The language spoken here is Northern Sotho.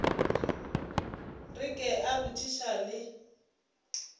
re ke a botšiša le